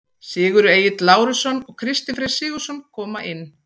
Sigurður Egill Lárusson og Kristinn Freyr Sigurðsson koma inn.